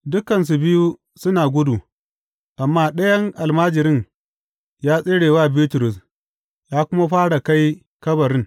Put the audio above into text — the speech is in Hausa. Dukansu biyu suna gudu, amma ɗayan almajirin ya tsere wa Bitrus ya kuma fara kai kabarin.